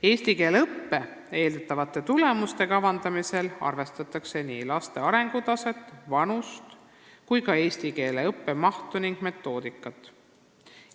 Eeldatavate eesti keele õpitulemuste kavandamisel arvestatakse laste arengutaset, vanust, eesti keele õppemahtu ja metoodikat.